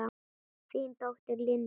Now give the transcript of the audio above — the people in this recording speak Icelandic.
Þín dóttir, Linda.